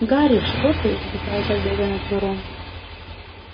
гарри что ты задыхаясь от бега начал рон